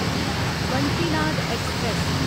Vanchinad express